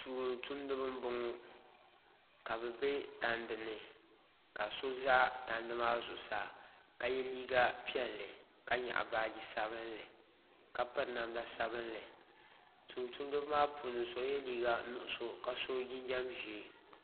Tuun tumdibi n boŋo ka bi bɛ tandi ni ka so ʒɛ tandi maa zuɣusaa ka yɛ liiga piɛlli ka nyaɣa baaji sabinli ka piri namda sabinli tumtumdiba maa puuni so yɛ liiga nuɣso ka so jinjɛm ʒiɛ